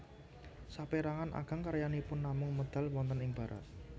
Sapérangan ageng karyanipun namung medal wonten ing Barat